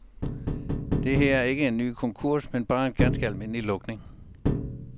Det her er ikke en ny konkurs, men bare en ganske almindelig lukning.